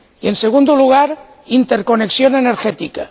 Y, en segundo lugar, interconexión energética.